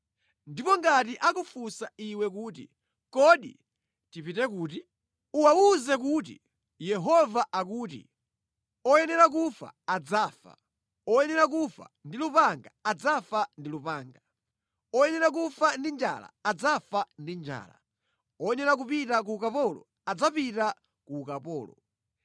Ndipo ngati akufunsa iwe kuti, ‘Kodi tipite kuti?’ uwawuze kuti, ‘Yehova akuti, “ ‘Oyenera kufa adzafa; oyenera kufa ndi lupanga adzafa ndi lupanga; oyenera kufa ndi njala adzafa ndi njala; oyenera kupita ku ukapolo adzapita ku ukapolo.’